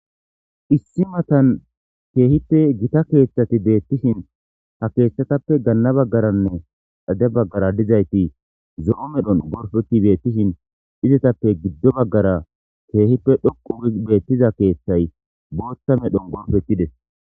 Issi matan keehippe gita keeththati beettishin ha keeththatappe ganna baggaranne xade baggara dizayti zo'o medhon gorpeti beettishin izetappe giddo baggara keehippe dhoqqu giidi beettiza keththay booththa medhon gorpetides.